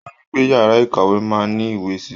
Ó ní pé yàrá ìkàwé máa ní ìwé si.